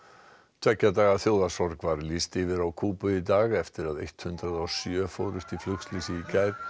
tveggja daga var lýst yfir á Kúbu í dag eftir að hundrað og sjö fórust í flugslysi í gær